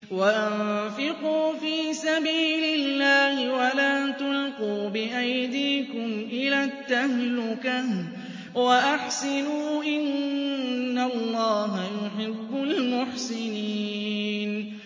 وَأَنفِقُوا فِي سَبِيلِ اللَّهِ وَلَا تُلْقُوا بِأَيْدِيكُمْ إِلَى التَّهْلُكَةِ ۛ وَأَحْسِنُوا ۛ إِنَّ اللَّهَ يُحِبُّ الْمُحْسِنِينَ